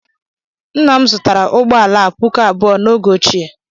Nna m zụtara ụgbọ ala a puku abụọ n'oge ochie